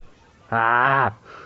а